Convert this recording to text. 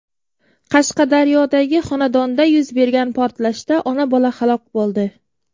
Qashqadaryodagi xonadonda yuz bergan portlashda ona-bola halok bo‘ldi.